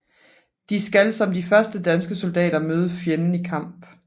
De skal som de første danske soldater møde fjenden i kamp